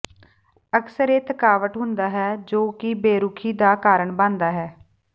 ਅਕਸਰ ਇਹ ਥਕਾਵਟ ਹੁੰਦਾ ਹੈ ਜੋ ਕਿ ਬੇਰੁੱਖੀ ਦਾ ਕਾਰਨ ਬਣਦਾ ਹੈ